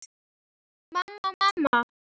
Mamma, mamma.